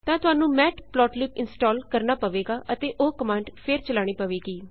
ਤਾਂ ਤੁਹਾਨੂੰ matplotlib install ਕਰਨਾ ਪਵੇਗਾ ਅਤੇ ਓਹ ਕਮਾਂਡ ਫੇਰ ਚਲਾਉਣੀ ਪਵੇਗੀ